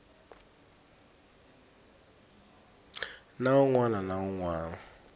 nawu wun wana na wun